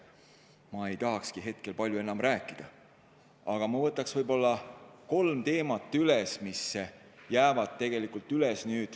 Sellest ei tahakski ma hetkel palju enam rääkida, aga ma võtaks üles võib-olla kolm teemat, mis jäid tegelikult lahtiseks.